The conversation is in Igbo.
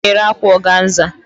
Ọ na-ere akwa ọganza